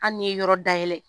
Hali n'i ye yɔrɔ dayɛlɛ